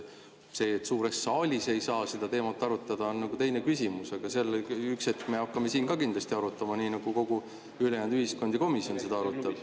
See, et suures saalis ei saa seda teemat arutada, on nagu teine küsimus, aga üks hetk me hakkame siin ka kindlasti seda arutama, nii nagu kogu ülejäänud ühiskond ja komisjon arutab.